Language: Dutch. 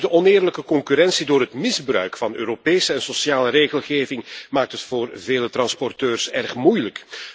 Ook de oneerlijke concurrentie door het misbruik van Europese en sociale regelgeving maakt het voor vele transporteurs erg moeilijk.